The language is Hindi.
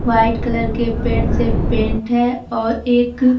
व्हाइट कलर के पेंट से पेंट है और एक--